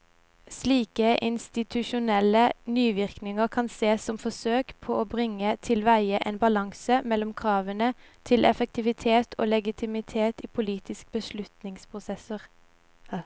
Slike institusjonelle nyvinninger kan sees som forsøk på å bringe tilveie en balanse mellom kravene til effektivitet og legitimitet i politiske beslutningsprosesser.